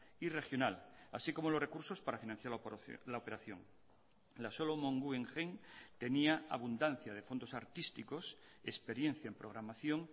y regional así como los recursos para financiar la operación la solomon guggenheim tenía abundancia de fondos artísticos experiencia en programación